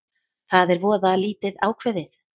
Það er voða lítið ákveðið